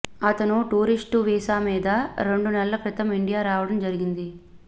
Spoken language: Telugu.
అతను టూరిస్ట్ వీసా మీద రెండు నెలల క్రితం ఇండియా రావడం జరిగింది